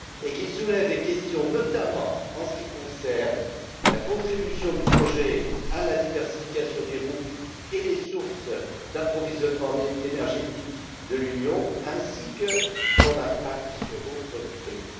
Il soulève des questions, notamment en ce qui concerne la contribution du projet à la diversification des routes et des sources d'approvisionnement énergétiques de l'Union ainsi que son impact sur d'autres pays.